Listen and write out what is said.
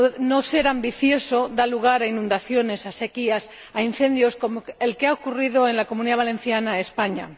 No ser ambicioso da lugar a inundaciones, a sequías y a incendios, como el que ha ocurrido en la Comunidad Valenciana en España.